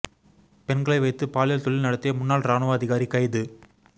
பெண்களை வைத்து பாலியல் தொழில் நடத்திய முன்னாள் ராணுவ அதிகாரி கைது